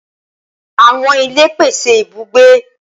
Awọn ile pese ibugbe.